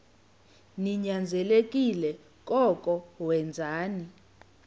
ninyanzelekile koko wenzeni